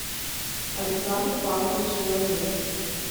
александр павлович меламед